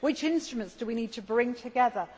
Which instruments do we need to bring together?